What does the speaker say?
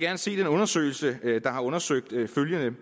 gerne se den undersøgelse der har undersøgt følgende